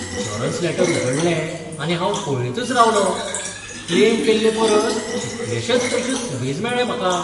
Insurance letter उगडलें आनी हांव पळयतच रावलों. क्लेम केल्लेपरस कितलशेच पयशे सुबेज मेळ्ळे म्हाका.